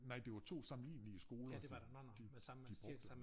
Nej det var 2 sammenlignelige skoler de de de brugte